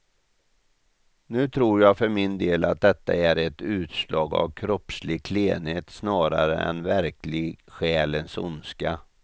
Nu tror jag för min del att detta är ett utslag av kroppslig klenhet snarare än verklig själens ondska.